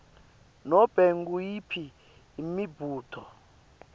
nobe nguyiphi imibuto